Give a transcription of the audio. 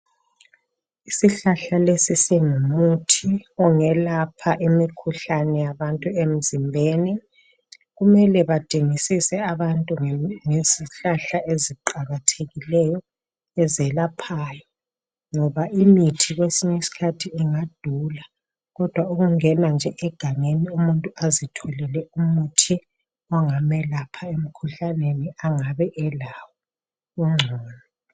Isihlahla lesi singumuthi ongelapha imikhuhlani yabantu emzimbeni kumele badingisise abantu ngezihlahla eziqakathekileyo ezelaphayo. Ngoba imithi kwesinye isikhathi ingadula kodwa ukungena nje egangeni umuntu azitholele umuthi ongamelapha emkhuhlaneni angabe elawo kungcono.